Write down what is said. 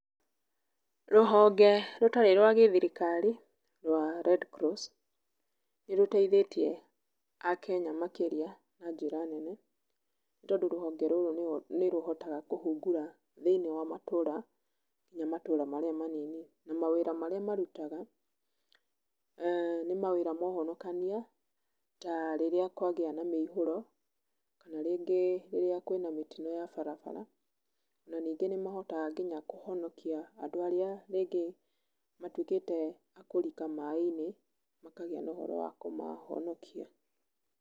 Rũhonge rũtarĩ rwa gĩthirikari rwa Redcross, nĩrũteithĩtie Akenya makĩria na njĩra nene, nĩ tondũ rũhonge rũrũ nĩrũhotaga kũhungura thĩiniĩ wa matũra nginya matũra marĩa manini, na mawĩra marĩa marutaga nĩ mawĩra ma ũhonokania ta rĩrĩa kwagĩa na mĩihũro, kana rĩngĩ rĩrĩa kwĩ na mĩtino ya barabara. Na ningĩ nĩmahotaga nginya kũhonokia andũ arĩa rĩngĩ matuĩkĩte akũrika maaĩ-inĩ, makagĩa na ũhoro wa kũmahonokia.